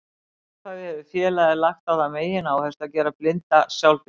Frá upphafi hefur félagið lagt á það megináherslu að gera blinda sjálfbjarga.